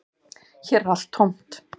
Hér er allt tómt